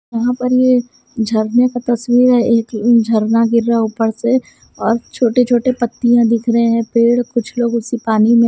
यहां पर ये झरने का तस्वीर है एक झरना गिर रहा है ऊपर से और छोटे छोटे पत्तियां दिख रहे हैं पेड़ कुछ लोग इस पानी में--